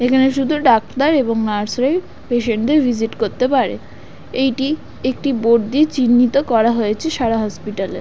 এখানে শুধু ডাক্তার এবং নার্স রাই পেশেন্ট দের ভিজিট করতে পারে। এইটি একটি বোর্ড দিয়ে চিহ্ণিত করা হয়েছে সারা হসপিটাল এ।